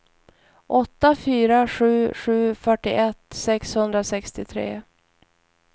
åtta fyra sju sju fyrtioett sexhundrasextiotre